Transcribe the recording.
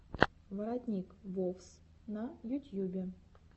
воротник вовс на ютьюбе